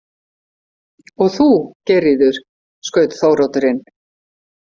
Og þú, Geirríður, skaut Þóroddur inn.